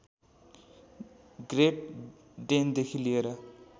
great डेनदेखि लिएर